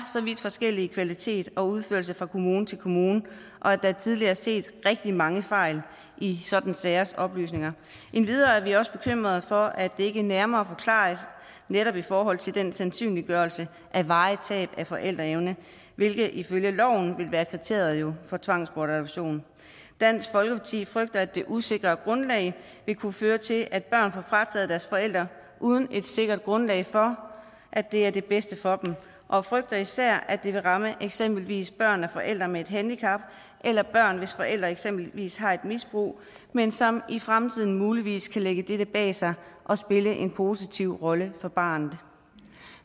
så vidt forskellig kvalitet og udførelse fra kommune til kommune og at der tidligere er set rigtig mange fejl i sådanne sagers oplysninger endvidere er vi også bekymret for at det ikke nærmere forklares netop i forhold til den sandsynliggørelse af varigt tab af forældreevne hvilket ifølge loven jo vil være kriteriet for tvangsbortadoption dansk folkeparti frygter at det usikre grundlag vil kunne føre til at børn får frataget deres forældre uden et sikkert grundlag for at det er det bedste for dem og frygter især at det vil ramme eksempelvis børn af forældre med et handicap eller børn hvis forældre eksempelvis har et misbrug men som i fremtiden muligvis kan lægge dette bag sig og spille en positiv rolle for barnet